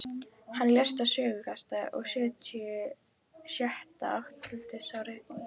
Hann lést á sjötugasta og sjötta aldursári í